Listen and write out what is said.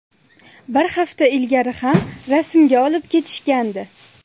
Bir hafta ilgari ham rasmga olib ketishgandi.